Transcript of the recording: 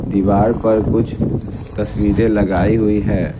दीवार पर कुछ तस्वीरें लगाई हुई है।